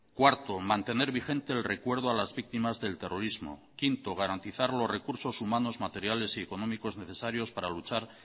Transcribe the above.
cuarto mantener vigente el recuerdo a las víctimas del terrorismo quinto garantizar los recursos humanos materiales y económicos necesarios para luchar